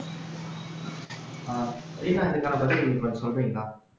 இப்ப அதுக்கான பதில் இப்ப சொல்றீங்களா